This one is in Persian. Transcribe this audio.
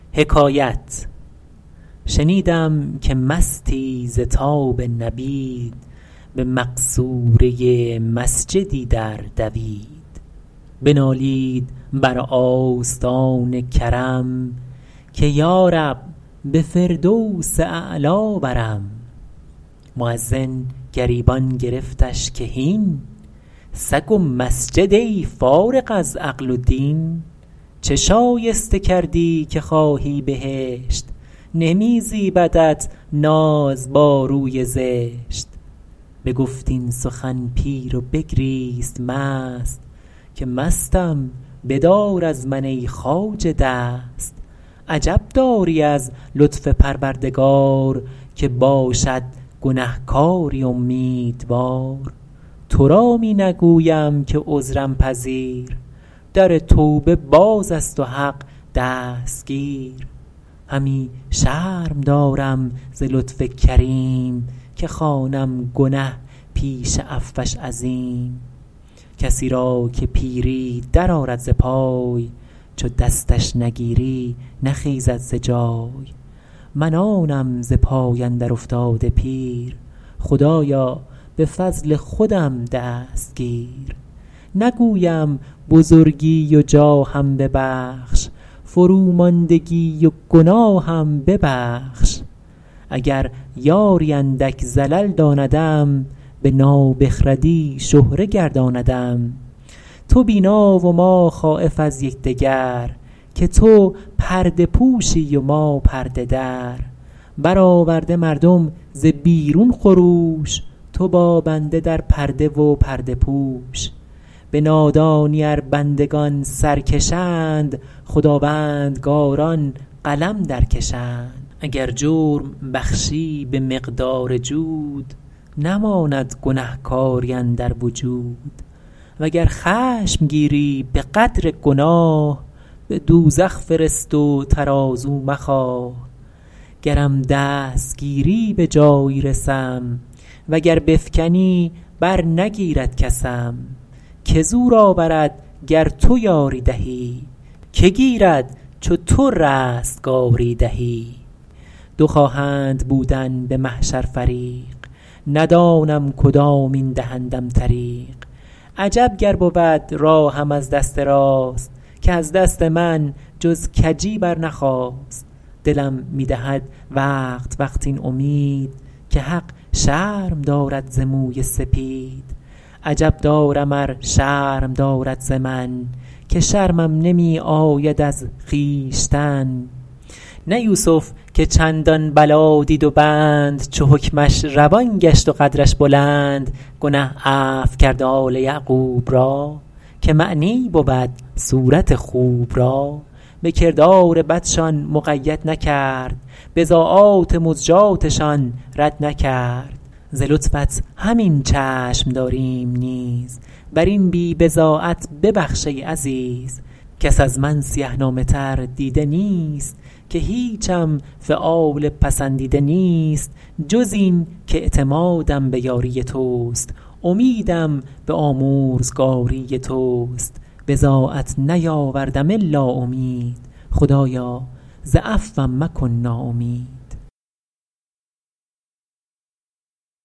شنیدم که مستی ز تاب نبید به مقصوره مسجدی در دوید بنالید بر آستان کرم که یارب به فردوس اعلی برم مؤذن گریبان گرفتش که هین سگ و مسجد ای فارغ از عقل و دین چه شایسته کردی که خواهی بهشت نمی زیبدت ناز با روی زشت بگفت این سخن پیر و بگریست مست که مستم بدار از من ای خواجه دست عجب داری از لطف پروردگار که باشد گنهکاری امیدوار تو را می نگویم که عذرم پذیر در توبه باز است و حق دستگیر همی شرم دارم ز لطف کریم که خوانم گنه پیش عفوش عظیم کسی را که پیری در آرد ز پای چو دستش نگیری نخیزد ز جای من آنم ز پای اندر افتاده پیر خدایا به فضل خودم دست گیر نگویم بزرگی و جاهم ببخش فروماندگی و گناهم ببخش اگر یاری اندک زلل داندم به نابخردی شهره گرداندم تو بینا و ما خایف از یکدگر که تو پرده پوشی و ما پرده در برآورده مردم ز بیرون خروش تو با بنده در پرده و پرده پوش به نادانی ار بندگان سرکشند خداوندگاران قلم در کشند اگر جرم بخشی به مقدار جود نماند گنهکاری اندر وجود وگر خشم گیری به قدر گناه به دوزخ فرست و ترازو مخواه گرم دست گیری به جایی رسم وگر بفکنی بر نگیرد کسم که زور آورد گر تو یاری دهی که گیرد چو تو رستگاری دهی دو خواهند بودن به محشر فریق ندانم کدامین دهندم طریق عجب گر بود راهم از دست راست که از دست من جز کجی برنخاست دلم می دهد وقت وقت این امید که حق شرم دارد ز موی سپید عجب دارم ار شرم دارد ز من که شرمم نمی آید از خویشتن نه یوسف که چندان بلا دید و بند چو حکمش روان گشت و قدرش بلند گنه عفو کرد آل یعقوب را که معنی بود صورت خوب را به کردار بدشان مقید نکرد بضاعات مزجاتشان رد نکرد ز لطفت همین چشم داریم نیز بر این بی بضاعت ببخش ای عزیز کس از من سیه نامه تر دیده نیست که هیچم فعال پسندیده نیست جز این کاعتمادم به یاری تست امیدم به آمرزگاری تست بضاعت نیاوردم الا امید خدایا ز عفوم مکن ناامید